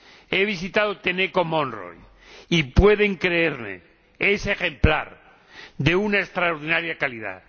He visitado Tenneco Monroe y —pueden creerme— es ejemplar, de una extraordinaria calidad.